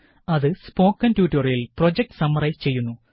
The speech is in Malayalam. അത് സ്പോക്കണ് ട്യൂട്ടോറിയല് പ്രോജക്ട് സമ്മറൈസ് ചെയ്യുന്നു